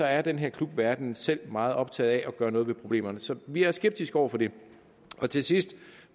er den her klubverden selv meget optaget af at gøre noget ved problemerne så vi er skeptiske over for det til sidst